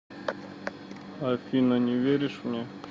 афина не веришь мне